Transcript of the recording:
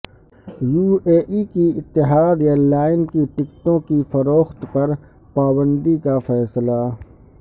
you A E کی Etihad airline کی ٹکٹوں کی فروخت پر پابندی کا فیصلہ